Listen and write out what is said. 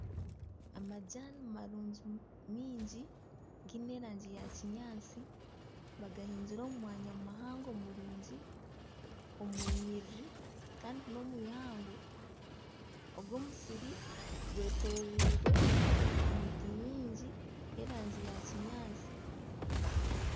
Amajani marungi mingi giine erangi ya kinyaatsi bagahingire omu mwanya muhango murungi omu nyiriri kandi n'omw'eihangwe ogu omusiri gwetoreirwe emiti mingi y'erangi ya kinyaatsi.